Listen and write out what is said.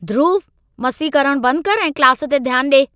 ध्रुवु, मस्ती करण बंद करि ऐं क्लास ते ध्यान ॾिए।